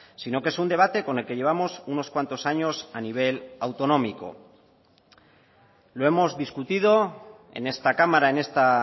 sino que es un debate con el que llevamos unos cuantos años a nivel autonómico lo hemos discutido en esta cámara en esta